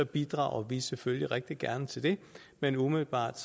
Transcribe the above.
bidrager vi selvfølgelig rigtig gerne til det men umiddelbart